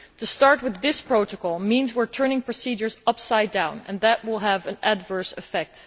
To start with this protocol means we are turning procedures upside down and that will have an adverse effect.